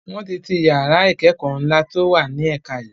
Wọn tí ti yàrá ìkẹ́kọ̀ ńla to wá ní ẹ̀ka yii